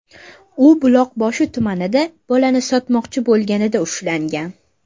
U Buloqboshi tumanida bolani sotmoqchi bo‘lganida ushlangan.